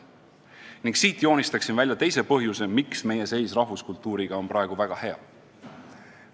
Ning siit joonistaksin välja teise põhjuse, miks meie rahvuskultuuri seis on praegu väga hea.